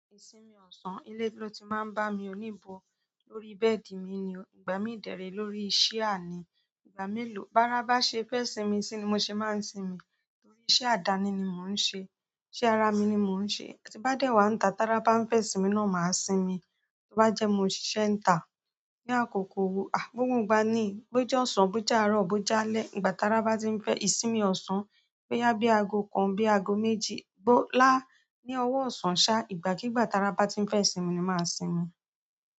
Ìsinmi ọ̀sán, ilé ló ti máa ń bá mi o níbo lórí bẹ́ẹ̀dì mi ni. Ìgbà mi dẹ̀ ré lórí ṣià ni, ìgbà melò. Bárá bá ṣe fẹ́ ìsinmi sí ni mo ṣe máa ń sinmi torí iṣẹ́ àdáni ni mò ń ṣe. Iṣẹ́ ara mi ni mò ń ṣe. Tí n bá dẹ́ wá ń ta, tára bá ń fẹ́ sinmi náà máa sinmi. Tí ó bá jẹ́ mo ṣì ṣe ń tà. Ni àkókò, ah, gbógun gba ni, bó jẹ́ ọ̀sán, bó jẹ́ àárọ̀, bó jẹ́ alẹ́. Ìgbà tara bá ti ń fẹ́, ìsinmi ọ̀sán, bó yá bí aago kan, bí aago méjì, bó lá ní ọwọ́ ọ̀sán ṣá, ìgbà kigbà tara bá ti ń fẹ́ sinmi ni màá sinmi.